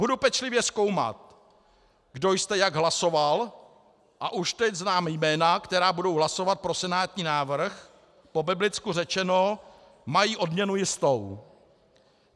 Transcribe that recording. Budu pečlivě zkoumat, kdo jste jak hlasoval, a už teď znám jména, která budou hlasovat pro senátní návrh, po biblicku řečeno, mají odměnu jistou.